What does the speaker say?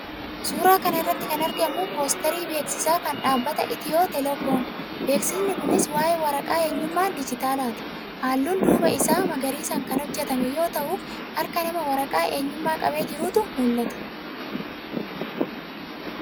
Suuraa kana irratti kan argamu poosterii beeksisaa kan dhaabbata Itiyoo teelekoomi. Beeksisni kunis waa'ee waraqaa eenyummaa diijitaalaati. Halluun duubaa isaa magariisaan kan hojjetame yoo ta'u, harka namaa waraqaa eenyummaa qabee jirutu mul'ata.